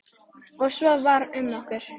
Og svo var um okkur.